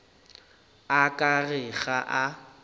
o ka re ga a